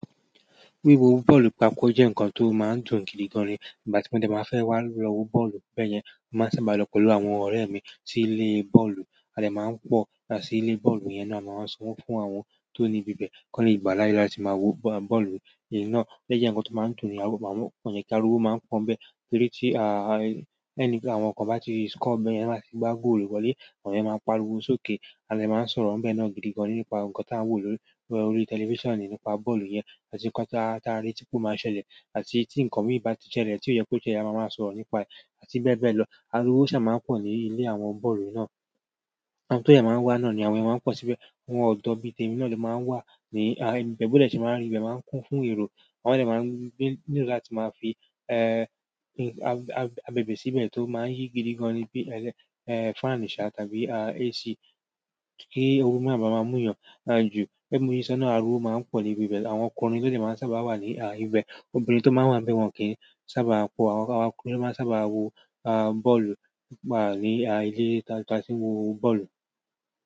Wíwo bọ́ọ̀lù papọ̀ jẹ́ ǹkan tó máa ń dùn gidigan ni. Ìgbà tí mo jẹ máa fẹ́ wá lọ wo bọ́ọ̀lù bẹ́yẹn, màá sábà lọ pẹ̀lú àwọn ọ̀rẹ́ mi sí ilé bọ́ọ̀lù. A dè máa ń pọ̀ yà sí ilé bọ́ọ̀lù yẹn náà, à máa ń sanwó fún àwọn tó ní ibi bẹ́ẹ̀, kó le gbà láíláí láti máa wo bọ́ọ̀lù náà. Lẹ́yìn náà, lẹ́jẹ́ ǹkan tó máa ń dùn ni, àwọn ọ̀yẹ́ kí ara wo máa ń pọ́n bẹ́ẹ̀ pẹ́lú tí àwọn kan bá ti score bẹ́yẹn láti gbá góòlù wọlé, àwọn èèyàn máa ń pariwo sókè. A de maa n so ro be náà gidigan nípa nkan ti a wo lórí telifisani nípa bọ́ọ̀lù yen àti ikan ti a retí pe o ma ṣẹlẹ̀ àti ti nkan mi bati ṣẹlẹ̀ ti koyeko ṣẹlẹ̀ a máà máa sọ̀rọ̀ nípa re àti bẹ́ẹ̀ bẹ́ẹ̀ lọ. Ariwo ṣá máa ń pọ̀ ní ilé àwọn bọ́ọ̀lù náà. Àwọn tó yẹ máa ń wà náà ni àwọn èèyàn máa ń pọ̀ síbẹ̀. Àwọn ọ̀dọ́bí tẹ́mi náà ló máa ń wà ní ibẹ̀ bó ti ṣe máa rí, ibẹ̀ máa ń kún fún eérò. Wọn lè máa ń gbé nínú láti máa fi abèbè síbẹ̀ tó máa ń yí gidigan ni bí i fan nìṣà tàbí AC kí ooru má bá má mú yàn. Àn jú, ẹ́mu yìí ṣá náà ara wo máa ń pọ̀ ní ibi bẹ́ẹ̀. Àwọn ọkùnrin tó lè máa ń sábà wà ní ibẹ̀, obìnrin tó máa ń wà bẹ́wọ̀n kí í sábà pọ̀. Àwọn ọkùnrin ló máa ń sábà wo bọ́ọ̀lù ní ilé tí a ti máa ń wo bọ́ọ̀lù.